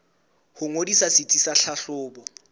ho ngodisa setsi sa tlhahlobo